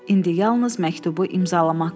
İndi yalnız məktubu imzalamaq qalırdı.